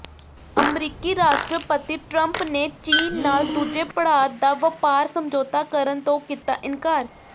ਅਮਰੀਕੀ ਰਾਸ਼ਟਰਪਤੀ ਟਰੰਪ ਨੇ ਚੀਨ ਨਾਲ ਦੂਜੇ ਪੜਾਅ ਦਾ ਵਪਾਰ ਸਮਝੌਤਾ ਕਰਨ ਤੋਂ ਕੀਤਾ ਇਨਕਾਰ